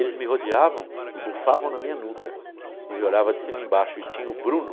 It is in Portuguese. Eles me rodeavam e bufavam na minha nuca e me olhava de cima-embaixo e tinha o Bruno,